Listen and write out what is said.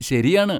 ശരിയാണ്.